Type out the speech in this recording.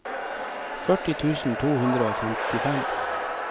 førti tusen to hundre og femtifem